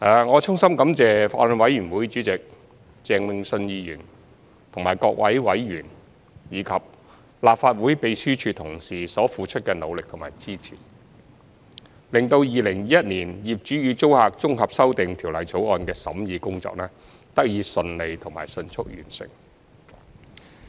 我衷心感謝法案委員會主席鄭泳舜議員和各位委員，以及立法會秘書處同事所付出的努力和支持，令《2021年業主與租客條例草案》的審議工作得以順利及迅速完成。